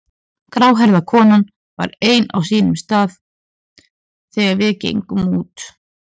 Gráhærða konan var enn á sínum stað þegar við gengum út.